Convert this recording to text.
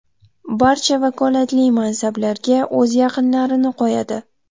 Barcha vakolatli mansablarga o‘z yaqinlarini qo‘yadi.